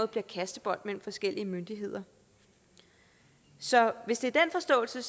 bliver kastebold mellem forskellige myndigheder så hvis det er den forståelse